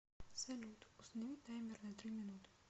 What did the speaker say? салют установи таймер на три минуты